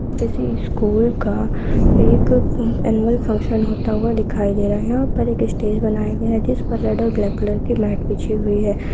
किसी स्कुल का एक अ एनुअल फंक्शन होता हुआ दिखायी दे रहा है यहाँ पर एक स्टेज बनाया गया है जिस पर रेड और ब्लैक कलर की लाइट बिछी हुई है।